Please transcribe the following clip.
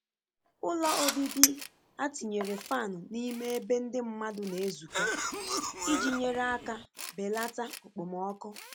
Ụlọ obibi a tinyere fan n’ime ebe ndị mmadụ na-ezukọ iji nyere aka belata okpomọkụ.